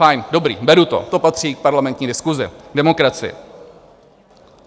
Fajn, dobrý, beru to, to patří k parlamentní diskusi, demokracii.